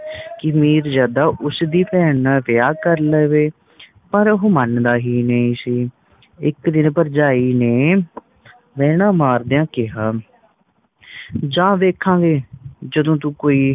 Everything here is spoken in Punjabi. ਕਿ ਮੀਰਜਦਾ ਉਸ ਦੀ ਭੈਣ ਨਾਲ ਵਿਆਹ ਕਰ ਲਵੇਂ ਪਰ ਉਹ ਮੰਨਦਾ ਹੀ ਨਹੀਂ ਸੀ ਇੱਕ ਦਿਨ ਭਰਜਾਈ ਨੇ ਨੈਣਾ ਮਾਰਦਿਆਂ ਕਿਹਾ ਜਾ ਵੇਖਾਂਗੇ ਜਦੋ ਤੂੰ ਕੋਈ